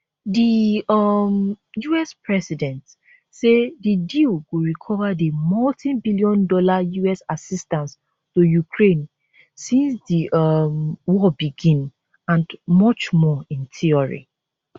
di um us president say di deal go recover di multibillion dollar us assistance to ukraine since di um war begin and much more in theory